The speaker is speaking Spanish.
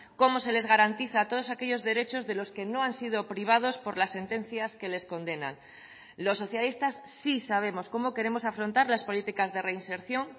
cómo se les garantiza todos aquellos derechos de los que no han sido privados por las sentencias que les condenan los socialistas sí sabemos cómo queremos afrontar las políticas de reinserción